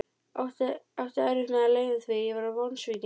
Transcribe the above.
Átti erfitt með að leyna því að ég var vonsvikinn.